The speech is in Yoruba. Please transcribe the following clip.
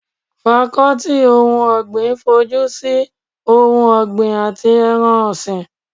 Fakọ́tì ohun ọ̀gbìn fojúsi ohun ọ̀gbin àti ẹran ọ̀sìn